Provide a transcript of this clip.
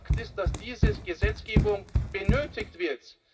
Aber Fakt ist, dass diese Gesetzgebung benötigt wird.